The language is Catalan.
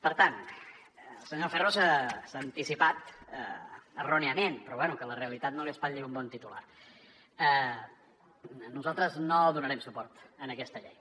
per tant el senyor ferro s’hi ha anticipat erròniament però bé que la realitat no li espatlli un bon titular nosaltres no donarem suport a aquesta llei